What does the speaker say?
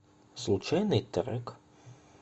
случайный трек